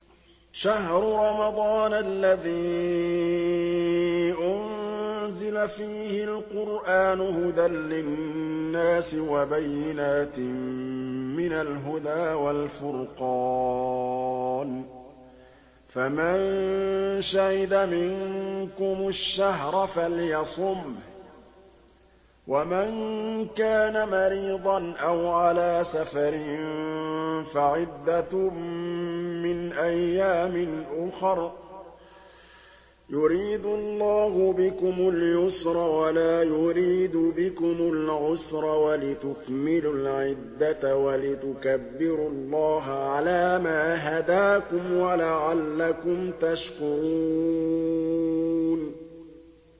شَهْرُ رَمَضَانَ الَّذِي أُنزِلَ فِيهِ الْقُرْآنُ هُدًى لِّلنَّاسِ وَبَيِّنَاتٍ مِّنَ الْهُدَىٰ وَالْفُرْقَانِ ۚ فَمَن شَهِدَ مِنكُمُ الشَّهْرَ فَلْيَصُمْهُ ۖ وَمَن كَانَ مَرِيضًا أَوْ عَلَىٰ سَفَرٍ فَعِدَّةٌ مِّنْ أَيَّامٍ أُخَرَ ۗ يُرِيدُ اللَّهُ بِكُمُ الْيُسْرَ وَلَا يُرِيدُ بِكُمُ الْعُسْرَ وَلِتُكْمِلُوا الْعِدَّةَ وَلِتُكَبِّرُوا اللَّهَ عَلَىٰ مَا هَدَاكُمْ وَلَعَلَّكُمْ تَشْكُرُونَ